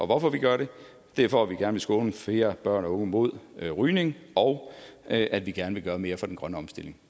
hvorfor vi gør det det er for at vi gerne vil skåne flere børn og unge mod rygning og at vi gerne vil gøre mere for den grønne omstilling